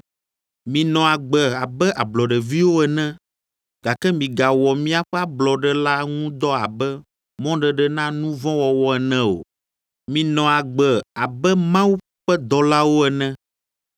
Minɔ agbe abe ablɔɖeviwo ene, gake migawɔ miaƒe ablɔɖe la ŋu dɔ abe mɔɖeɖe na nu vɔ̃ wɔwɔ ene o; minɔ agbe abe Mawu ƒe dɔlawo ene.